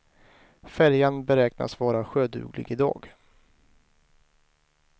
Färjan beräknas vara sjöduglig i dag.